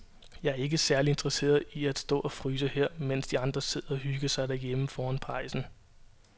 Jeg er ikke særlig interesseret i at stå og fryse her, mens de andre sidder og hygger sig derhjemme foran pejsen.